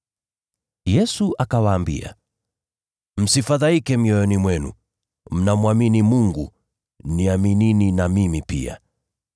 Yesu akawaambia, “Msifadhaike mioyoni mwenu, mnamwamini Mungu, niaminini na mimi pia.